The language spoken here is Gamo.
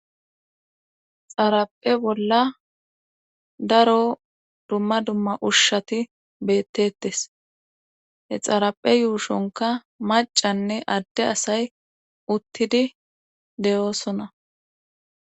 xaraphe bolla daro dumma dumma ushshati bettettes he xaraphe yuushonka macanne adde asay uttidi de'oosona